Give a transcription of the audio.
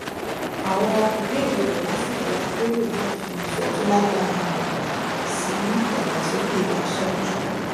àwọn ìbéèrè rẹ lásìkò àpérò náà fi ìfẹ tó lágbára hàn sí ìdàgbàsókè aṣáájú